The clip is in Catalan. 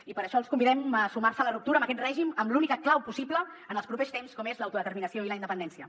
i per això els convidem a sumar se a la ruptura amb aquest règim amb l’única clau possible en els propers temps com és l’autodeterminació i la independència